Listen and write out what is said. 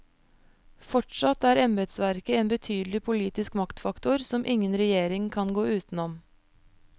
Fortsatt er embedsverket en betydelig politisk maktfaktor, som ingen regjering kan gå utenom.